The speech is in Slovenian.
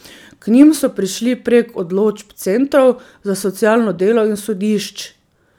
K njim so prišli prek odločb centrov za socialno delo in sodišč.